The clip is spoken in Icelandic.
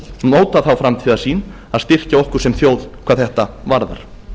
móta þá framtíðarsýn að styrkja okkur sem þjóð hvað þetta varðar